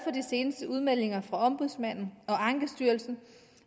seneste udmeldinger fra ombudsmanden og ankestyrelsen